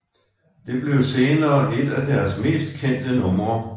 Det blev senere et af deres mest kendte numre